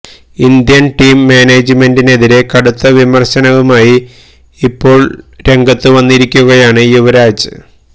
Indian team മാനേജ്മെന്റിനെതിരേ കടുത്ത വിമര്ശനവുമായി ഇപ്പോള് രംഗത്തു വന്നിരിക്കുകയാണ് യുവരാജ്